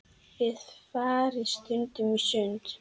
Þið farið stundum í sund.